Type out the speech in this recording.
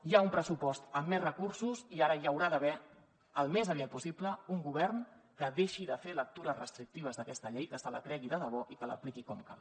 hi ha un pressupost amb més recursos i ara hi haurà d’haver al més aviat possible un govern que deixi de fer lectures restrictives d’aquesta llei que se la cregui de debò i que l’apliqui com cal